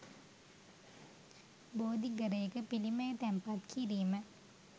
බෝධිඝරයක බුදුපිළිම තැන්පත් කිරීම